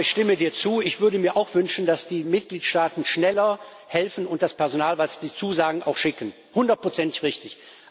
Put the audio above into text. Aber ich stimme dir zu, ich würde mir auch wünschen, dass die Mitgliedstaaten schneller helfen und das Personal, das sie zusagen, auch schicken hundertprozentig richtig.